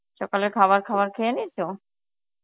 সকালের খাবার খাবার খেয়ে নিয়েছো?